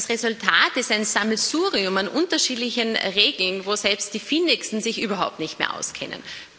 Das Resultat ist ein Sammelsurium an unterschiedlichen Regeln, wo selbst die Findigsten sich überhaupt nicht mehr auskennen.